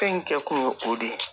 Fɛn in kɛ kun ye o de ye